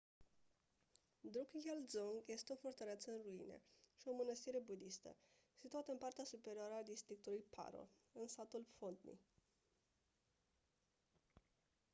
drukgyal dzong este o fortăreață în ruine și o mânăstire budistă situată în partea superioară a districtului paro în satul phondey